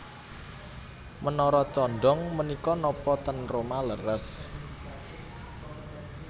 Menara condong menika nopo ten Roma leres